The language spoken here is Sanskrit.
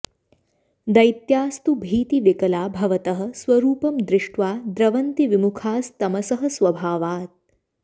दैत्यास्तु भीतिविकला भवतः स्वरूपं दृष्ट्वा द्रवन्ति विमुखास्तमसः स्वभावात्